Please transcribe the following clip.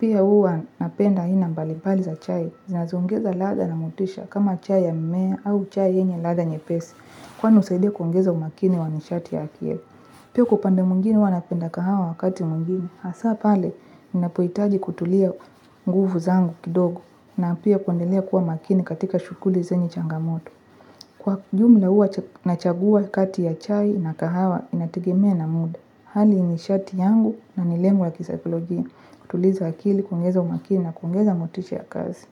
Pia huwa napenda aina mbalibali za chai. Zinazoongeza ladha na motisha kama chai ya mmea au chai yenye ladha nyepesi. Kwa husaidia kuongeza umakini wa misharti ya akili. Pia huko upande mwingine huwa napenda kahawa wakati mwingine. Hasa pale ninapohitaji kutulia nguvu zangu kidogo. Na pia kuendelea kuwa makini katika shughuli zenye changamoto. Kwa jumla, huwa nachagua kati ya chai na kahawa inategemea na muda. Hali ni sharti yangu na milemwa ya kisaikolojia. Kutuliza akili, kuongeza umakini na kuongeza motisha ya kazi.